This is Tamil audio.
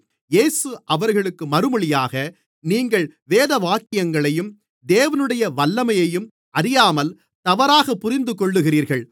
இயேசு அவர்களுக்கு மறுமொழியாக நீங்கள் வேதவாக்கியங்களையும் தேவனுடைய வல்லமையையும் அறியாமல் தவறாகப் புரிந்துகொள்ளுகிறீர்கள்